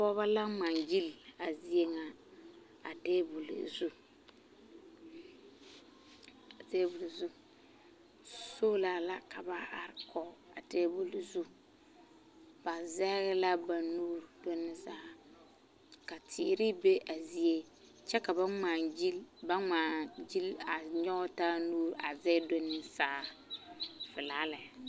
A pɔgeba la ŋmaa gyili a zie ŋa a tabol zu sola la ka ba are kɔge a tabol zu ba zɛge la ba nuuri ka teere be a zie kyɛ ka ba ŋmaa gyili a nyɔge taa nuuri a zɛge do ne saa pelaa lɛ.